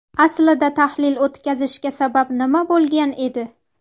Aslida tahlil o‘tkazishga sabab nima bo‘lgan edi?